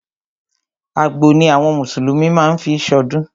Àgbò ni àwọn mùsùlùmí má ń fí ṣọdún.